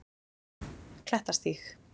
Klettastíg